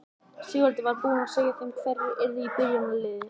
Sigvaldi var búinn að segja þeim hverjir yrðu í byrjunarliðinu.